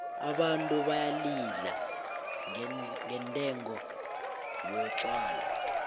abantu bayalila ngendengo yotjhwala